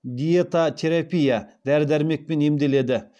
диетатерапия дәрі дәрмекпен емделеді